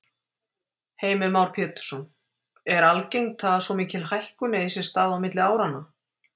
Heimir Már Pétursson: Er algengt að svo mikil hækkun eigi sér stað á milli áranna?